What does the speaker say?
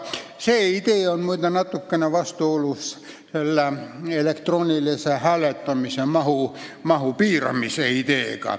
See idee on, muide, natukene vastuolus elektroonilise hääletamise mahu piiramise ideega.